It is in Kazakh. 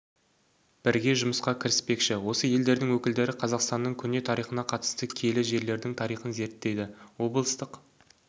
бірге жұмысқа кіріспекші осы елдердің өкілдері қазақстанның көне тарихына қатысты киелі жерердің тарихын зерттейді облыстық